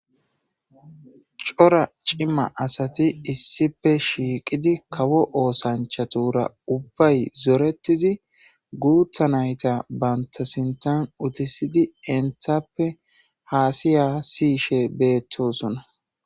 Corra ciima assati issippe shiiqidi kawo ooththanchchatura ubay zoretiid guththa naytta bantta siinththan utiisidi henttappe haasiya siiyishshe bettossona